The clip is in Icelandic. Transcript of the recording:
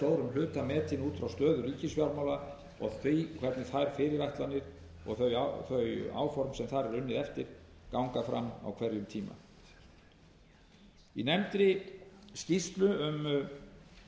stórum hluta metinn út frá stöðu ríkisfjármála og því hvernig þær fyrirætlanir og þau áform sem þar er unnið eftir ganga fram á hverjum tíma í nefndri skýrslu um